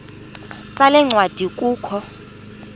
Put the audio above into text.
sale ncwadi kukho